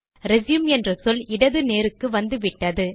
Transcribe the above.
resume என்ற சொல் இடது நேருக்கு வந்துவிட்டது